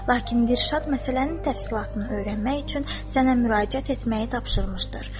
Lakin Dilşad məsələnin təfsilatını öyrənmək üçün sənə müraciət etməyi tapşırmışdır.